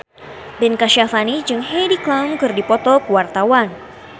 Ben Kasyafani jeung Heidi Klum keur dipoto ku wartawan